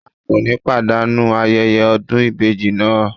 A kò ní pàdánù ayẹyẹ ọdún ìbejì náà.